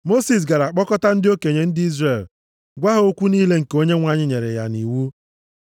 Mosis gara kpọkọta ndị okenye ndị Izrel, gwa ha okwu niile nke Onyenwe anyị nyere ya nʼiwu.